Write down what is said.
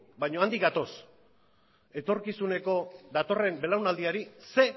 baina handik gatoz etorkizuneko datorren belaunaldiari ze